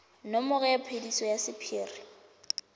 nomoro ya phetiso ya sephiri